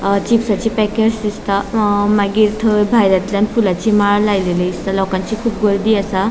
अ चिप्सची पेकेट्स दिसता अ मागिर थंय भायल्यातल्यान फुलांची माळ लायलेली दिसता लोकांची कुब गर्दी असा.